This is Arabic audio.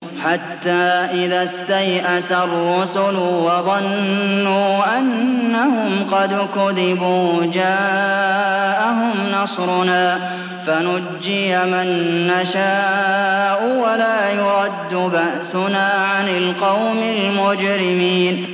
حَتَّىٰ إِذَا اسْتَيْأَسَ الرُّسُلُ وَظَنُّوا أَنَّهُمْ قَدْ كُذِبُوا جَاءَهُمْ نَصْرُنَا فَنُجِّيَ مَن نَّشَاءُ ۖ وَلَا يُرَدُّ بَأْسُنَا عَنِ الْقَوْمِ الْمُجْرِمِينَ